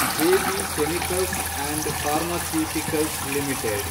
J B Chemicals and Pharmaceuticals limited